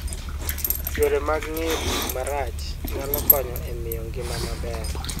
Yore mag geng'o tik marach nyalo konyo e miyo ngima maber.